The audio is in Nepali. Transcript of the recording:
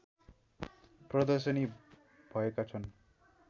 प्रदर्शनी भएका छन्